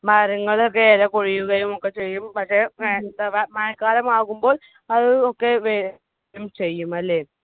മരങ്ങളൊക്കെ എലപൊഴിയുകയുമൊക്കെ ചെയ്യും. പക്ഷെ മഴക്കാലമാകുമ്പോൾ അത് ഒക്കെ വരുക്കെ ചെയ്യും അല്ലെ?